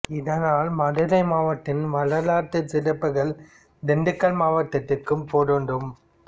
இதனால் மதுரை மாவட்டத்தின் வரலாற்றுச் சிறப்புகள் திண்டுக்கல் மாவட்டத்திற்கும் பொருந்தும்